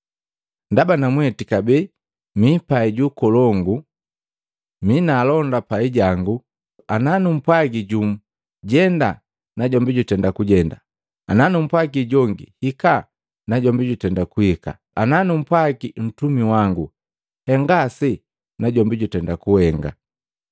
Ndaba namweti kabee mipai ju ukolongu, mi na alonda pai jangu. Ana numpwagi jumu, ‘Jenda!’ Najombi jutenda kujenda, ana numpwagi jongi, ‘Hikaa!’ Najombi jutenda kuhika, ana numpwagi ntumi wangu, ‘Henga ase!’ Najombi jutenda kuhenga.”